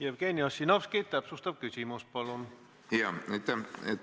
Jevgeni Ossinovski, täpsustav küsimus, palun!